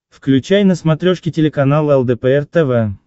включай на смотрешке телеканал лдпр тв